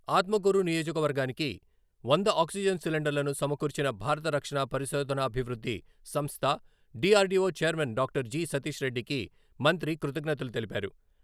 ఆత్మకూరు నియోజకవర్గానికి వంద ఆక్సిజన్ సిలిండర్లను సమకూర్చిన భారత రక్షణ పరిశోధనాభివృద్ధి సంస్థ, DRDO chairman doctor G Satish రెడ్డికి మంత్రి కృతజ్ఞతలు తెలిపారు.